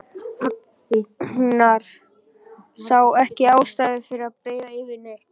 Agnar sá ekki ástæðu til að breiða yfir neitt.